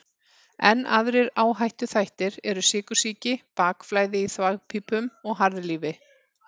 Enn aðrir áhættuþættir eru sykursýki, bakflæði í þvagpípum og harðlífi.